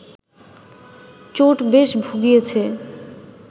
চোট বেশ ভুগিয়েছে